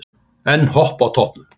Enn Hopp á toppnum